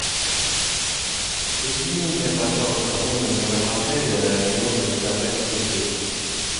соедини меня пожалуйста с менеджером отеля мне нужно заказать цветы